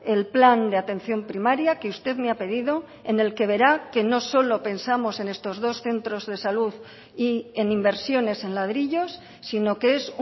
el plan de atención primaria que usted me ha pedido en el que verá que no solo pensamos en estos dos centros de salud y en inversiones en ladrillos sino que es